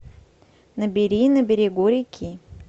набери на берегу реки